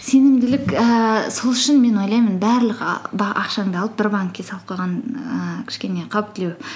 сенімділік ііі сол үшін мен ойлаймын барлық ақшаңды алып бір банкке салып қойған ііі кішкене қауіптілеу